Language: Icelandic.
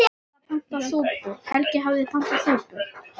Helgi hafði pantað súpu.